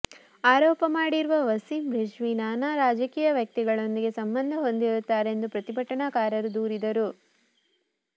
ಆರೋಪ ಮಾಡಿರುವ ವಸಿಂ ರಿಜ್ವಿ ನಾನಾ ರಾಜಕೀಯ ವ್ಯಕ್ತಿಗಳೊಂದಿಗೆ ಸಂಬಂಧ ಹೊಂದಿರುತ್ತಾರೆ ಎಂದು ಪ್ರತಿಭಟನಾಕಾರರು ದೂರಿದರು